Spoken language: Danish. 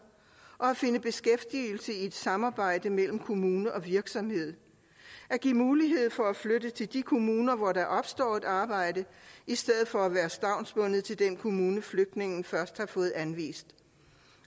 finde beskæftigelse i et samarbejde mellem kommuner og virksomheder give mulighed for at flytte til de kommuner hvor der opstår et arbejde i stedet for at være stavnsbundet til den kommune flygtningen først har fået anvist